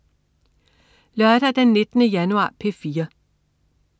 Lørdag den 19. januar - P4: